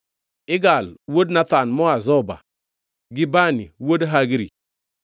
Igal wuod Nathan moa Zoba, gi Bani wuod Hagri,